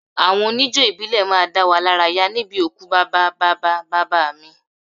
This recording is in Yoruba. Àwọn oníjó ìbílẹ̀ wá dá wa lára yá níbi òkú bàbá bàbá bàbá mi